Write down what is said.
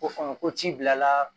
Ko hɔn ko ci bilala